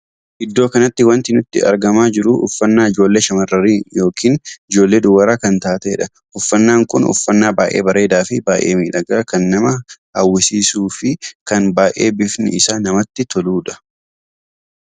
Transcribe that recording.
Iddoo kanatti wanti nutti argamaa jiru uffannaa ijoollee shamarranii yookiin ijoollee dubaraa kan taateedha. uffannaan kun uffannaa baay'ee bareedaa fi baay'ee miidhagaa kan nama hawwisiisuu fin kan baay'ee bifni isaa namatti toludha.